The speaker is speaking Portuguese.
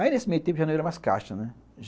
Aí nesse meio tempo já não era mais caixa, né?